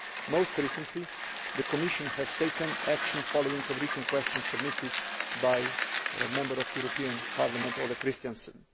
Most recently, the Commission has taken action following a written question submitted by a Member of the European Parliament, Ole Christensen.